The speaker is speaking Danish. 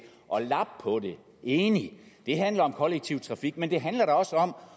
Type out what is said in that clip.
at lappe på det enig det handler om kollektiv trafik men det handler da også om